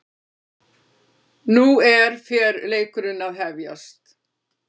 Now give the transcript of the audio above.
Nú er fer leikurinn að hefjast